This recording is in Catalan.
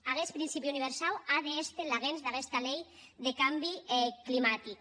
aguest principi universau a d’èster laguens d’aguesta lei deth cambi climatic